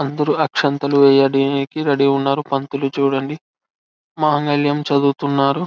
అందరూ ఆక్షంతలు వేస్తున్నారు పంతులు చుడండి మాంగల్యం చదువు తున్నాడు.